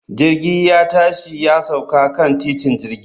Jirgi ya tashi ya sauka kan titin jirgi